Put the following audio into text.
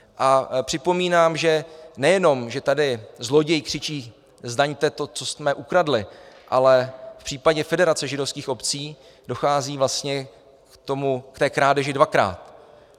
A připomínám, že nejenom že tady zloděj křičí Zdaňte to, co jsme ukradli!, ale v případě Federace židovských obcí dochází vlastně k té krádeži dvakrát.